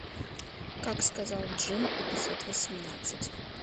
как сказал джинн эпизод восемнадцать